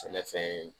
Sɛnɛfɛn ye